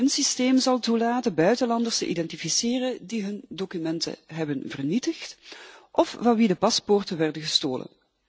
Het systeem zal toelaten buitenlanders te identificeren die hun documenten hebben vernietigd of van wie de paspoorten werden gestolen.